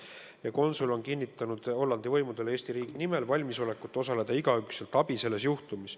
Ühtlasi on konsul Hollandi võimudele kinnitanud Eesti riigi nimel valmisolekut osutada selles juhtumis igakülgset abi.